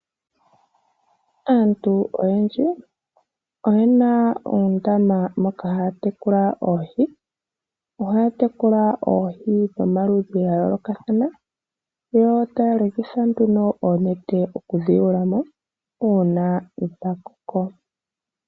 Aantu oyendji oyena oondama moka haya tekula oohi. Ohaya tekula oohi dhomaludhi gayoolokathana, yo taya longitha nduno oonete okudhi yulamo, uuna dhakoko.